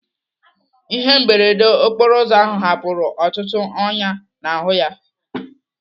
Ihe mberede okporo ụzọ ahụ hapụrụ ọtụtụ ọnyá n'ahụ ya.